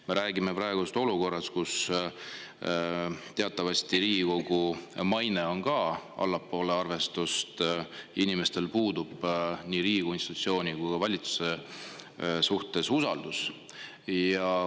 Me räägime praegu olukorrast, kus Riigikogu maine on teatavasti allpool arvestust, inimestel puudub usaldus nii Riigikogu institutsiooni kui ka valitsuse vastu.